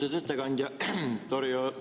Lugupeetud ettekandja!